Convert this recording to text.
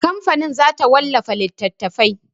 Kamfanin za ta wallafa littatafai.